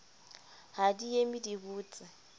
ha di eme di botse